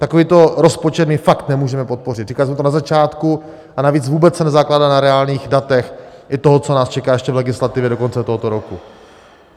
Takovýto rozpočet my fakt nemůžeme podpořit, říkal jsem to na začátku, a navíc se vůbec nezakládá na reálných datech i toho, co nás čeká ještě v legislativě do konce tohoto roku.